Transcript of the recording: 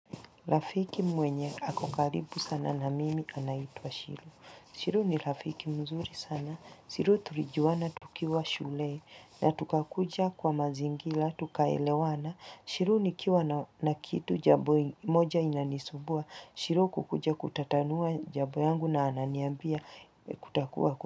Lafiki mwenye akokaribu sana na mimi anaitwa shiru. Shiru ni lafiki mzuri sana. Shiru turijuwana tukiwa shule na tukakuja kwa mazingila, tukaelewana. Shiru nikiwa na kitu jabo moja inanisubua. Shiru kukuja kutatanua jabo yangu na ananiambia kutakuwa kutakuwa.